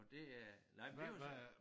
Og det øh nej men det jo så